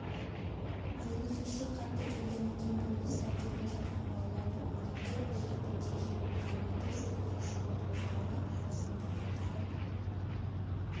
жүргізуші қатты келгендіктен бұрылыста келе жатқан балаларды көргенде көлікті тежеп үлгермеді жүргізушінің туыстары арызыңды қайтарып